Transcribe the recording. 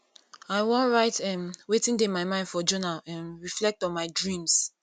i wan write um wetin dey my mind for journal um reflect on my dreams